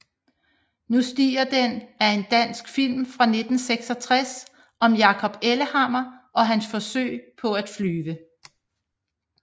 Nu stiger den er en dansk film fra 1966 om Jacob Ellehammer og hans forsøg på at flyve